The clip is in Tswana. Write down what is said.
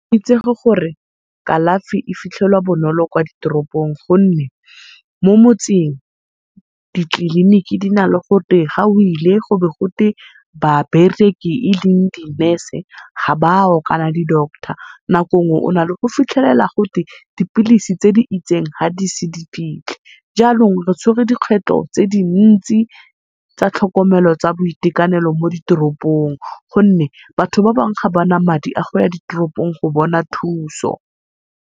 Itsege gore kalafi e fitlhela bonolo kwa ditopropong gonne mo motseng, ditleliniki di na le gote ga oile go bo gote babereki e leng di Nurse ga bawo kana di Doctor. Nako nngwe o na le go fitlhelela gotwe dipilisi tse di itseng ga di se di fitlhi. Janong re tshwere dikgwetlho tse dintsi tsa tlhokomelo tsa boitekanelo mo ditoropong, gonne batho ba bangwe ga bana madi a go ya ditoropong go bona thuso.